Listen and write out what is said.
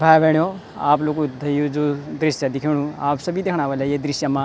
भाई-भेणाे आप लुखु थे यु जू दृश्य दिखेणु आप सभी देखणा वल्ला ये दृश्य मा --